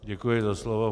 Děkuji za slovo.